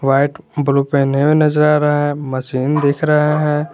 White blue पहने हुए नजर आ रहा है मशीन दिख रहा है।